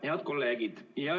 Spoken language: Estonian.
Head kolleegid!